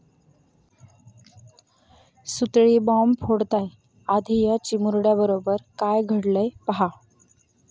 सुतळी बाँब फोडताय.... आधी या चिमुरड्याबरोबर काय घडलंय पाहा!